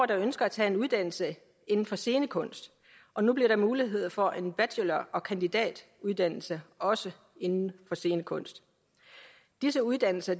der ønsker at tage en uddannelse inden for scenekunst og nu bliver der mulighed for en bachelor og kandidatuddannelse også inden for scenekunst disse uddannelser